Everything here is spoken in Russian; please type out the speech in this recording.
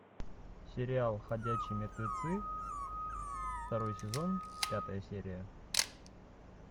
сериал ходячие мертвецы второй сезон пятая серия